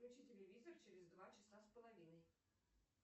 включи телевизор через два часа с половиной